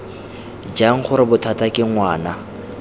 jang gore bothata ke ngwana